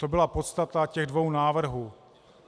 To byla podstata těch dvou návrhů.